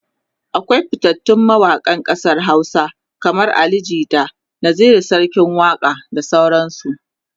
akwai fitattun mawaƙan ƙasar Hausa kaman Ali jita, Naziru sarkin waƙa da sauran su